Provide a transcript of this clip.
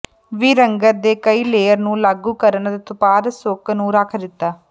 ਵੀ ਰੰਗਤ ਦੇ ਕਈ ਲੇਅਰ ਨੂੰ ਲਾਗੂ ਕਰਨ ਅਤੇ ਉਤਪਾਦ ਸੁੱਕ ਨੂੰ ਰੱਖ ਦਿੱਤਾ